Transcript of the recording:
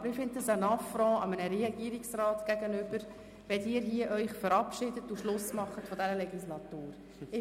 Aber ich erachte es als Affront einem Regierungsrat gegenüber, wenn Sie sich hier verabschieden und bereits den Schluss dieser Legislaturperiode machen.